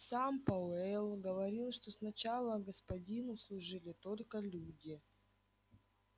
сам пауэлл говорил что сначала господину служили только люди